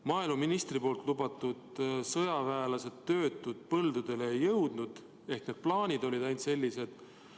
Maaeluministri lubatud sõjaväelased ja töötud põldudele ei jõudnud, ehk ainult plaanid olid sellised.